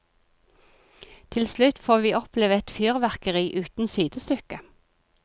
Til slutt får vi oppleve et fyrverkeri uten sidestykke.